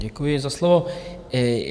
Děkuji za slovo.